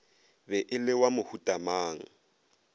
be e le wa mohutamang